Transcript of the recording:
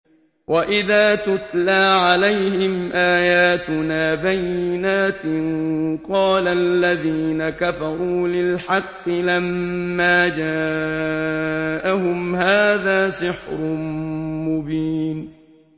وَإِذَا تُتْلَىٰ عَلَيْهِمْ آيَاتُنَا بَيِّنَاتٍ قَالَ الَّذِينَ كَفَرُوا لِلْحَقِّ لَمَّا جَاءَهُمْ هَٰذَا سِحْرٌ مُّبِينٌ